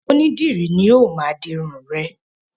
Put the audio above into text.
Onídìrí ni ó máa di irun rẹ̀.